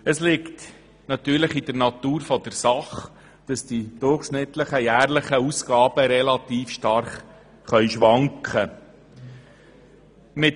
Es liegt natürlich in der Natur der Sache, dass die durchschnittlichen jährlichen Ausgaben relativ stark schwanken können.